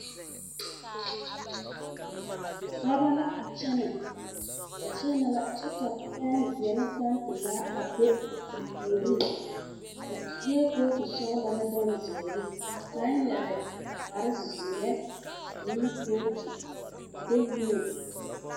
Dɔbɔ la a kyɛnɛ, ba kyɛnɛ la kyɛ ka penzeɛ ane pɛmpelaa a be ba puoriŋ. Ba sue kootu sɔgelɔ ne bonzeere ka kaŋa yɛre kpare zeɛ ane kootu a de wēɛ.